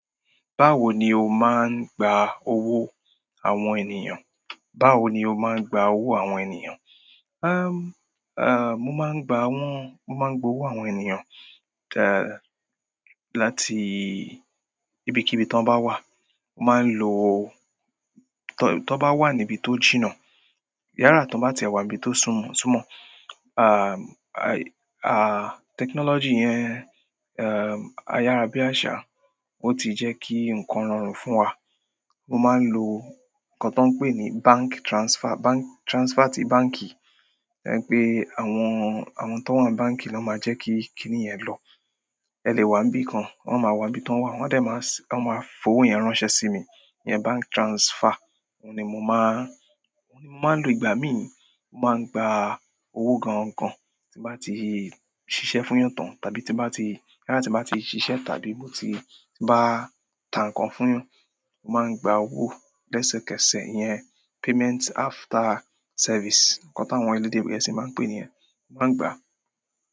Báwo ni o máa ń gba owó àwọn ènìyàn? Báwo ni o máa ń gba owó àwọn ènìyàn? Umm, à, mo máa ń gba wọ́n-- mo máa ń gba owó àwọn ènìyàn, taa, láti ibikíbi tí wọ́n bá wà. Mo máa ń lo-- tí wọ́n bá wà níbi tó jìnnà, yára tí wọ́n bá ti wà níbi tó súnmọ́, súnmọ́, à, à, technology yẹn, um, ayára bí àṣà, ó ti jẹ́ kí nǹkan rọrùn fún wa. Mo máa ń lo nǹkan tí wọ́n ń pè ní bank transfer, bank-- transfer ti báǹkì. Ẹ̀rẹ̀ pé àwọn, àwọn tó wà ní báǹkì ló máa jẹ́ kí kíniyẹn lọ. Ẹ lè wà ní bí kan, wọ́n máa wà níbi tí wọ́n wà, wọ́n de máa s-- wọ́n máa fowó yẹn ránṣẹ́ sí mi. Iyẹn bank transfer. Óun ni mo máa, óun ni mo máa ń lo ìgbà mí. Mo máa ń gba owó gan-an gan tí bá ti ṣiṣẹ́ fún yàn tán, tàbí tí bá ti, yára tí mo bá ti ṣiṣẹ́ tàbí mo ti bá ta nǹkan fún yàn. Mo máa ń gba owó lẹ́sẹ̀kẹsẹ̀. Iyẹn payment after service. Ǹkan táwọn elédè gẹ̀ẹ́sì máa ń pè ni yen. Mo máa ń gba.